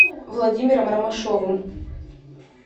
владимиром ромашовым